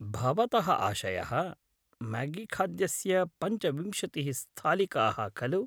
भवतः आशयः, म्यागीखाद्यस्य पञ्चविंशतिः स्थालिकाः, खलु?